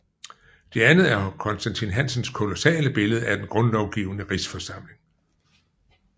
Det andet er Constantin Hansens kolossale billede af Den Grundlovgivende Rigsforsamling